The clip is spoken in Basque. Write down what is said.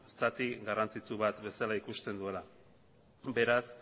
zati garrantzitsu bat bezala ikusten duela beraz